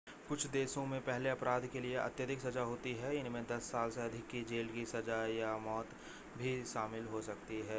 कुछ देशों में पहले अपराध के लिए अत्यधिक सज़ा होती है इनमें 10 साल से अधिक की जेल की सज़ा या मौत भी शामिल हो सकती है